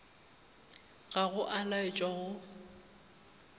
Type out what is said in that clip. ga go a laetšwa go